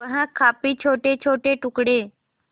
वह काफी छोटेछोटे टुकड़े